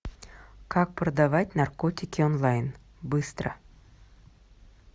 как продавать наркотики онлайн быстро